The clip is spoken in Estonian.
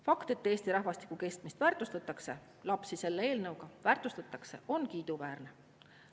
Fakt, et Eesti rahvastiku kestmist väärtustatakse, lapsi selle eelnõuga väärtustatakse, on kiiduväärne.